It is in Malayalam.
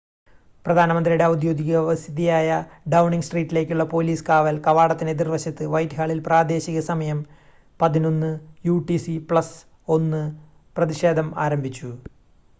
പ്രധാനമന്ത്രിയുടെ ഔദ്യോഗിക വസതിയായ ഡൗണിംഗ് സ്ട്രീറ്റിലേക്കുള്ള പോലീസ് കാവൽ കവാടത്തിന് എതിർവശത്ത് വൈറ്റ്ഹാളിൽ പ്രാദേശിക സമയം 11:00 യുടിസി + 1 പ്രതിഷേധം ആരംഭിച്ചു